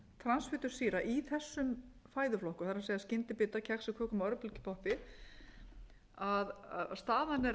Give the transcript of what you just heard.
transfitusýra í þessum fæðuflokkum það er skyndibita kexi kökum og örbylgjupoppi staðan er